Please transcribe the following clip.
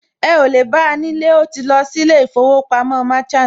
Ẹ ò lè bá nílé, ó ti lọ sí ilé ìfowópamọ́ Merchant